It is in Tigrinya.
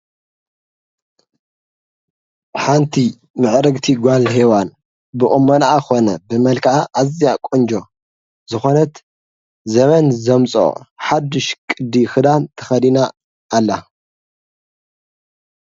ሓንቲ ምዕረግቲ ጓል ሄዋን ብቕመናዓ ኾነ ብመልከዓ እዚያ ቖንጆ ዝኾነት ዘመን ዘምጾ ሓድሽ ቅዲ ኽዳን ተኸዲና ኣላ፡፡